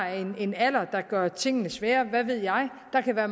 en alder der gør tingene sværere hvad ved jeg der kan være